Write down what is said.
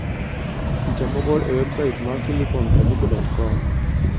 Picha mogol e websait mar SiliconCaribe.com.